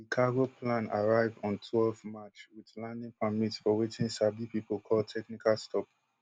di cargo plan arrive on twelve march wit landing permit for wetin sabi pipo call technical stop